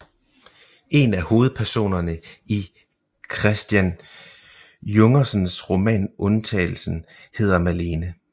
En af hovedpersonerne i Christian Jungersens roman Undtagelsen hedder Malene